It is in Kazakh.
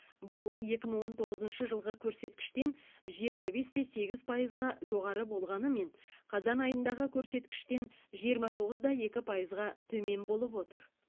бұл екі мың он тоғыз жылғы көрсеткіштен жиырма бес те сегіз пайызға жоғары болғанымен қазан айындағы көрсеткіштен жиырма тоғыз да екі пайызға төмен болып отыр